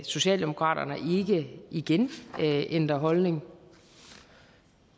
socialdemokratiet ikke igen ændrer holdning